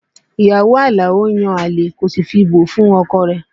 Ìyàwó Alao ń yan àlè kò sì fi bò fún ọkọ rẹ̀